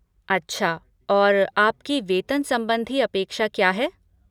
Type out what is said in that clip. अच्छा, और आपकी वेतन संबंधी अपेक्षा क्या है?